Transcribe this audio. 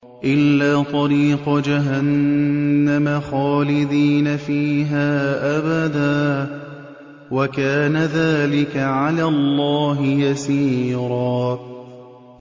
إِلَّا طَرِيقَ جَهَنَّمَ خَالِدِينَ فِيهَا أَبَدًا ۚ وَكَانَ ذَٰلِكَ عَلَى اللَّهِ يَسِيرًا